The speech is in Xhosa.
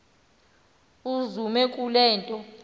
uzume kule nto